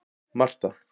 Marta